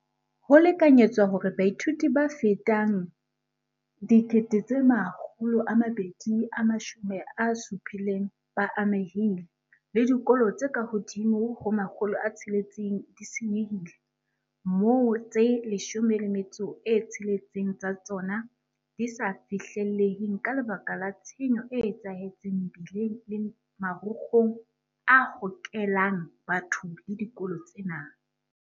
Ho lekanyetswa hore baithuti ba fetang 270 000 ba amehile, le dikolo tse ka hodimo ho 600 di se nyehile, moo tse 16 tsa tsona di sa fihlelleheng ka lebaka la tshenyo e etsahetseng mebileng le marokgong a hokelang batho le dikolo tsena.